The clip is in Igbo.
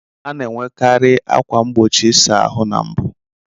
A na-enwekari ákwà mgbochi nke ịsa ahụ na mbu.